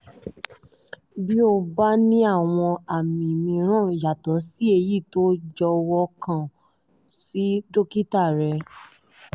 bí o bá ní àwọn àmì mìíràn yàtọ̀ sí èyí jọ̀wọ́ kàn sí dókítà rẹ